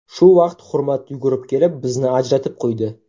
Shu vaqt Hurmat yugurib kelib, bizni ajratib qo‘ydi.